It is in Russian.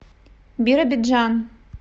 биробиджан